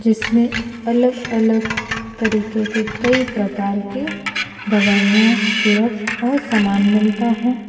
जिसमें अलग अलग तरीके के कई प्रकार के दवाइयां सिरप और सामान मिलता है।